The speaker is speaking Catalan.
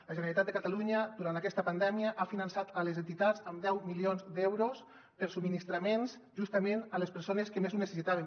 la generalitat de catalunya durant aquesta pandèmia ha finançat les entitats amb deu milions d’euros per a subministraments justament a les persones que més ho necessitaven